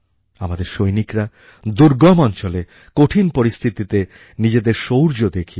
আমাদের সৈনিকরা দুর্গম অঞ্চলে কঠিন পরিস্থিতিতে নিজেদের শৌর্য দেখিয়েছেন